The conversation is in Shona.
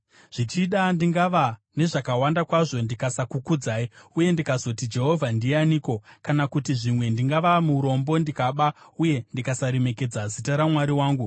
Zvichida, ndingava nezvakawanda kwazvo ndikasakukudzai, uye ndikazoti, ‘Jehovha ndianiko?’ Kana kuti zvimwe ndingava murombo ndikaba, uye ndikasaremekedza zita raMwari wangu.